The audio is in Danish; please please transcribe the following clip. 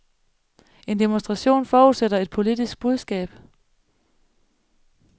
En demonstration forudsætter et politisk budskab.